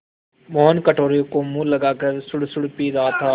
मोहन कटोरे को मुँह लगाकर सुड़सुड़ पी रहा था